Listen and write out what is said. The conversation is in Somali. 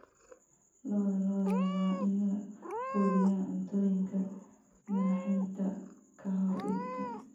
Lo'da lo'da waa in la quudiyaa cuntooyinka naaxinta ka hor iibka.